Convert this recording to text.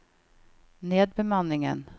nedbemanningen